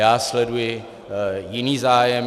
Já sleduji jiný zájem.